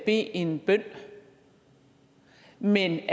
en bøn men